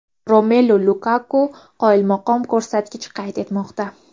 Romelu Lukaku qoyilmaqom ko‘rsatkich qayd etmoqda.